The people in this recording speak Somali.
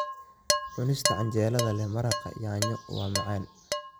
Cunista canjeelada leh maraqa yaanyo waa macaan.